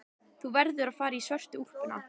Þú verður að fara í svörtu úlpuna.